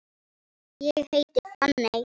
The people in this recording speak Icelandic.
Ég heiti Fanney.